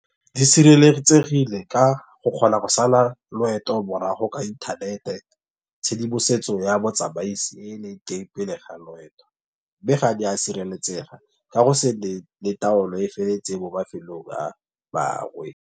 Di sireletsegile ka go kgona go sala loeto morago ka inthanete. Tshedimosetso ya botsamaisi pele ga loeto. Mme ga di a sireletsega ka go se le taolo e e feletseng mo mafelong a bangwe.